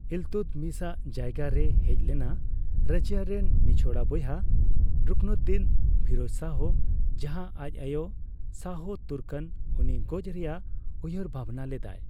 ᱤᱞᱛᱩᱫᱢᱤᱥ ᱟᱜ ᱡᱟᱭᱜᱟ ᱨᱮᱭ ᱦᱮᱡ ᱞᱮᱱᱟ ᱨᱟᱡᱤᱭᱟ ᱨᱮᱱ ᱱᱤᱪᱷᱚᱲᱟ ᱵᱚᱭᱦᱟ ᱨᱩᱠᱱᱩᱫᱫᱤᱱ ᱯᱷᱤᱨᱳᱡ ᱥᱟᱦᱚ, ᱡᱟᱸᱦᱟ ᱟᱪ ᱟᱭᱳ ᱥᱟᱦᱚ ᱛᱩᱨᱠᱟᱱ ᱩᱱᱤ ᱜᱚᱪ ᱨᱮᱭᱟᱜ ᱩᱭᱦᱟᱹᱨ ᱵᱷᱟᱵᱽᱱᱟ ᱞᱮᱫᱟᱭ ᱾